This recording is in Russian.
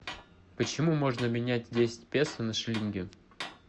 почему можно менять десять песо на шиллинги